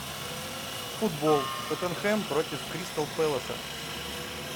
футбол тоттенхэм против кристал пэласа